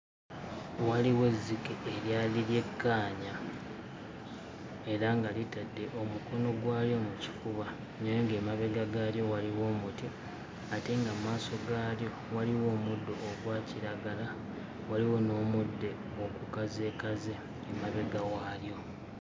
Waliwo ezzike eryali lyekkaanya era nga litadde omukono gwalyo mu kifuba naye ng'emabega gaalyo waliwo omuti ate nga mmaaso gaalyo waliwo omuddo ogwa kiragala waliwo n'omudde ogukazeekaze emabega waalyo.